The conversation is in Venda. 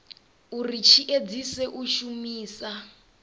uri tshi edzise u shumisa